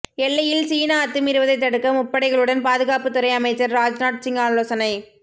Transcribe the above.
எல்லையில் சீனா அத்துமீறுவதை தடுக்க முப்படைகளுடன் பாதுகாப்புத்துறை அமைச்சர் ராஜ்நாத்சிங் ஆலோசனை